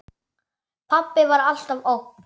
Pabbi var alltaf ógn.